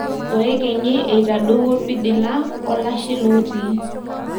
Oekenyi eitadowuo pidila wolashe lotii.